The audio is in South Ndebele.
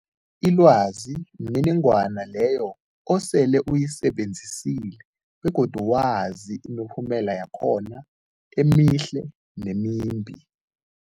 Ilwazi mniningwana leyo osele uyisebenzisile begodu wazi imiphumela yakhona emihle nemimbi.